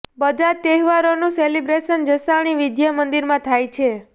બધા જ તહેવારોનું સેલિબ્રેશન જસાણી વિદ્યા મંદિરમાં થાય છે